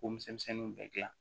K'o misɛnninw bɛɛ dilan